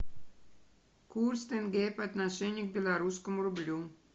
курс тенге по отношению к белорусскому рублю